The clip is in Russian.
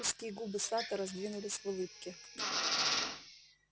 узкие губы сатта раздвинулись в улыбке